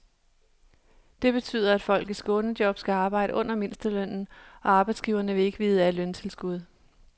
Det betyder, at folk i skånejob skal arbejde under mindstelønnen, og arbejdsgiverne vil ikke vide af løntilskud.